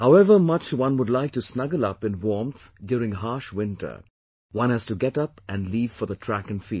However much one would like to snuggle up in warmth during a harsh winter, one has to just get up and leave for the track and field